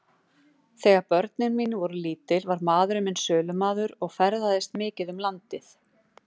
Þegar börnin mín voru lítil var maðurinn minn sölumaður og ferðaðist mikið um landið.